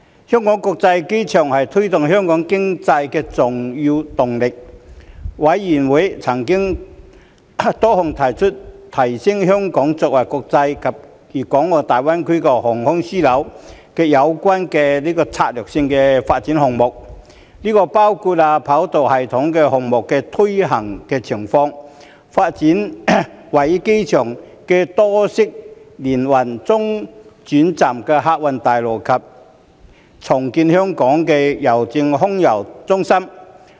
香港國際機場是推動香港經濟的重要動力，事務委員會曾討論多項提升香港作為國際及粵港澳大灣區航空樞紐有關的策略性發展項目，包括三跑道系統項目的推行情況、發展位於機場的多式聯運中轉客運大樓及重建香港郵政空郵中心。